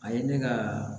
A ye ne ka